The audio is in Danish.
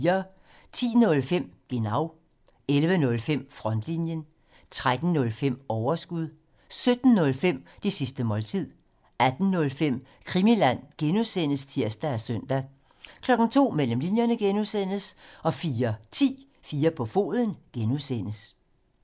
10:05: Genau 11:05: Frontlinjen 13:05: Overskud 17:05: Det sidste måltid 18:05: Krimiland (G) (tir og søn) 02:00: Mellem linjerne (G) 04:10: 4 på foden (G)